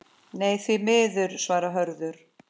Nei, því miður svarar Hörður.